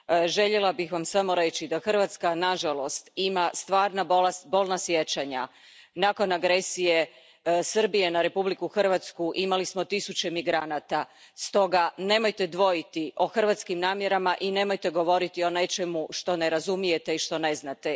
Željela bih vam samo reći da Hrvatska, nažalost, ima stvarna bolna sjećanja. Nakon agresije Srbije na Republiku Hrvatsku imali smo tisuće migranata, stoga, nemojte dvojiti o hrvatskim namjerama i nemojte govoriti o nečemu što ne razumijete i što ne znate.